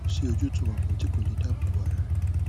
kò sí ojútùú kankan tí kò lè dáàbò bo ara rẹ